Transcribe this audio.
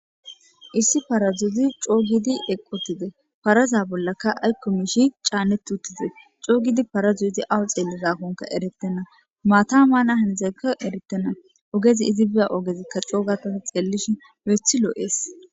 Issi parazoz co giidi eqi utides, paraza bollaka ayko mish caanet utides, co giidi parazoz izi awa xelizakonka eretena, mata mana hanizeka eretena,bogez izi biza ogezika co ga Tani xeelishn lo'eth lo'es.